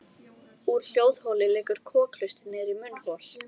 Úr hljóðholi liggur kokhlustin niður í munnhol.